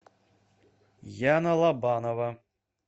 яна лобанова